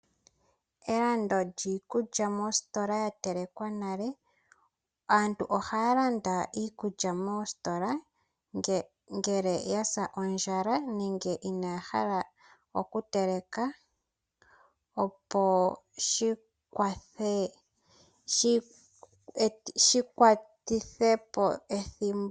Elando lyiikulya mositola ya telekwa nale, aantu ihaya landa iikulya moositola ngele ya sa ondjala nenge inaaya hala oku teleka opo shi kaleke po ethimbo.